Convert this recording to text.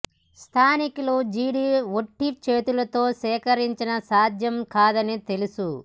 స్థానికులు జీడి ఒట్టి చేతులతో సేకరించిన సాధ్యం కాదని తెలుసు